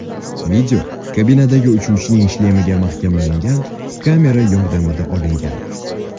Video kabinadagi uchuvchining shlemiga mahkamlangan kamera yordamida olingan.